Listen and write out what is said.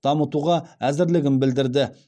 дамытуға әзірлігін білдірді